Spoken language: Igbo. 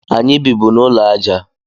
Anyị bịbụ n'ụlọ aja